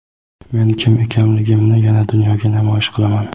Men kim ekanligimni yana dunyoga namoyish qilaman.